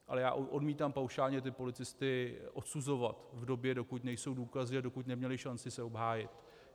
Ale já odmítám paušálně ty policisty odsuzovat v době, dokud nejsou důkazy a dokud neměli šanci se obhájit.